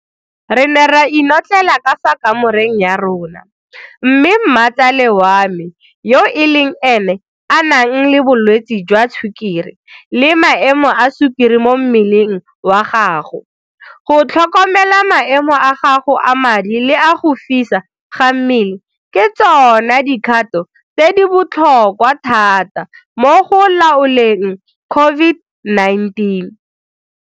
Re ne ra inotlelela ka fa kamoreng ya rona, mme mmatsale wa me yo le ene a nang le bolwetse jwa Sukiri le maemo a sukiri mo mmeleng wa gago, go tlhokomela maemo a gago a madi le a go fisa ga mmele ke tsona dikgato tse di botlhokwa thata mo go laoleng COVID-19.